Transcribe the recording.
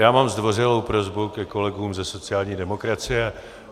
Já mám zdvořilou prosbu ke kolegům ze sociální demokracie.